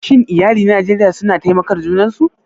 Shin iyalai a Najeriya suna taimakar junan su?